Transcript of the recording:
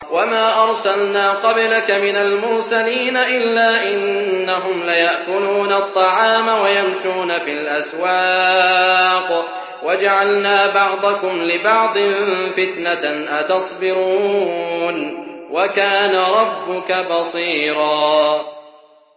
وَمَا أَرْسَلْنَا قَبْلَكَ مِنَ الْمُرْسَلِينَ إِلَّا إِنَّهُمْ لَيَأْكُلُونَ الطَّعَامَ وَيَمْشُونَ فِي الْأَسْوَاقِ ۗ وَجَعَلْنَا بَعْضَكُمْ لِبَعْضٍ فِتْنَةً أَتَصْبِرُونَ ۗ وَكَانَ رَبُّكَ بَصِيرًا